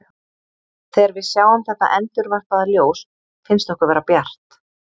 Þegar við sjáum þetta endurvarpaða ljós finnst okkur vera bjart.